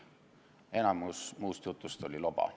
Enamik muust jutust oli loba.